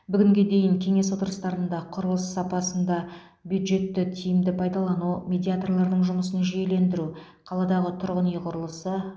бүгінге дейін кеңес отырыстарында құрылыс сапасында бюджетті тиімді пайдалану медиаторлардың жұмысын жүйелендіру қаладағы тұрғын үй құрылысы